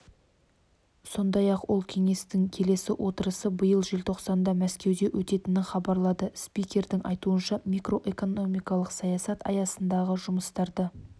сондай-ақ ол кеңестің келесі отырысы биыл желтоқсанда мәскеуде өтетінін хабарлады спикердің айтуынша макроэкономикалық саясат аясындағы жұмыстарды